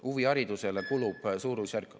Huviharidusele kulub suurusjärgus ...